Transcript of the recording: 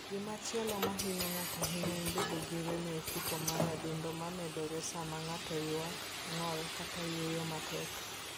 Gimachielo ma hinyo ng'ato ahinya en bedo gi rem e ofuko mar adundo ma medore sama ng'ato ywak, ng'ol, kata yweyo matek.